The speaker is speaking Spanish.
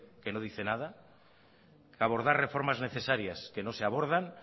que no dice nada abordar reformar necesarias que no se abordan